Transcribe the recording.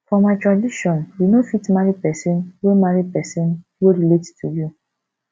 for my tradition you no fit marry pesin wey marry pesin wey relate to you